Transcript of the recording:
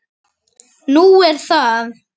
Nú er það?